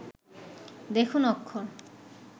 দেখুন অক্ষর